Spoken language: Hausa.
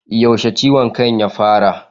Yaushe ciwon kan ya fara?